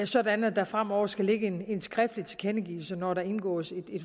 sådan at der fremover skal ligge en skriftlig tilkendegivelse når der indgås en